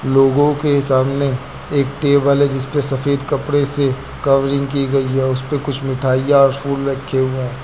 लोगों के सामने एक टेबल है जिसपे सफेद कपड़े से कवरिंग की गई है। उसपे कुछ मिठाइयां और फूल रखे हुए हैं।